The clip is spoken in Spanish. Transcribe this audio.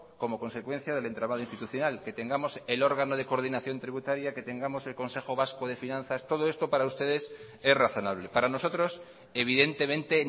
como consecuencia del entramado institucional que tengamos el órgano de coordinación tributaria que tengamos el consejo vasco de finanzas todo esto para ustedes es razonable para nosotros evidentemente